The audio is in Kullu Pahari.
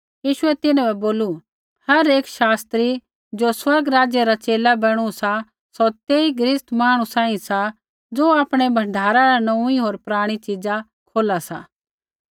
यीशुऐ तिन्हां बै बोलू हर एक शास्त्री ज़ो स्वर्ग राज्य रा च़ेला बैणू सा सौ तेई गृहस्ती मांहणु सांही सा ज़ो आपणै भण्डारा न नोऊँई होर पराणी च़ीज़ा खोला सा